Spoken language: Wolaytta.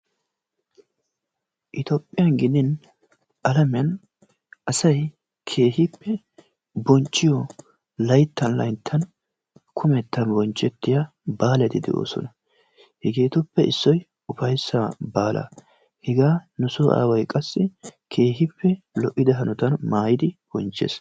Itoophphiyaan gidi alamiyaan asay keehippe bonchchiyoo layttan layttan kumetta bonchchettiyaa baaleti de"oosona. hegeetuppe issoy ufaysaa baalaa. Hegaa nusoo aaway qassi keehippe lo"ida hanotaan maayidi bonchchees.